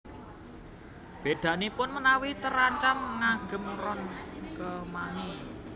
Bèdanipun menawi trancam ngagem ron kemangi